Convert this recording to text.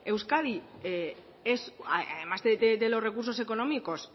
euskadi además de los recursos económicos